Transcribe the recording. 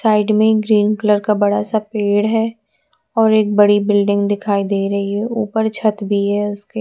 Side में एक green colour का बड़ा सा पेड़ है और एक बड़ी बिल्डिंग दिखाई दे रही है ऊपर छत भी है उसके।